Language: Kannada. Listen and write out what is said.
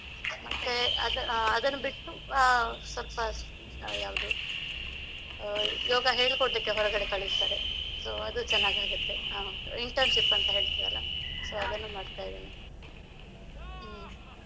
ಮತ್ತೆ ಅದ್~ ಅದನ್ನು ಬಿಟ್ಟು ಆ ಸ್ವಲ್ಪ ಯಾವುದು ಅಹ್ ಯೋಗ ಹೇಳಿ ಕೊಡ್ಲಿಕ್ಕೆ ಹೊರಗೆ ಕಳಿಸ್ತಾರೆ. So ಅದು ಚೆನ್ನಾಗಾಗುತ್ತೆ. Internship ಅಂತ ಹೇಳ್ತೀವಲ್ಲ ಅದನ್ನೂ ಮಾಡ್ತಾ ಇದ್ದೇನೆ, ಹ್ಮ್.